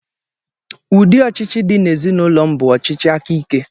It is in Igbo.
Ụdị ọchịchị dị ezinụlọ m bụ ọchịchị aka ike.